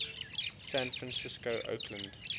san francisco oakland